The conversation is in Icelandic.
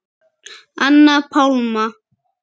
Anna Pálma.